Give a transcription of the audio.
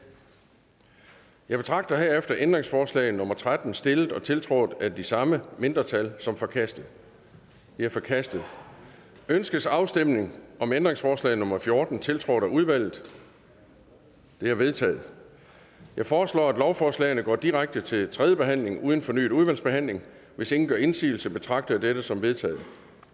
jeg betragter herefter ændringsforslag nummer tretten stillet og tiltrådt af de samme mindretal som forkastet det er forkastet ønskes afstemning om ændringsforslag nummer fjorten tiltrådt af udvalget det er vedtaget jeg foreslår at lovforslagene går direkte til tredje behandling uden fornyet udvalgsbehandling hvis ingen gør indsigelse betragter jeg dette som vedtaget